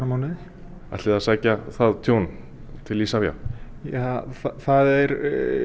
mánuði ætlið þið að sækja það tjón til Isavia ja það er